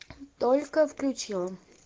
только включила